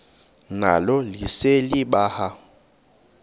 nalo lise libaha